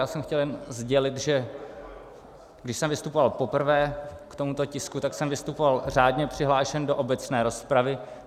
Já jsem chtěl jen sdělit, že když jsem vystupoval poprvé k tomuto tisku, tak jsem vystupoval řádně přihlášen do obecné rozpravy.